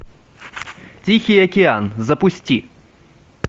тихий океан запусти